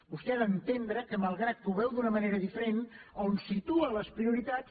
vostè ha d’entendre que malgrat que ho veu d’una manera diferent a on situa les prioritats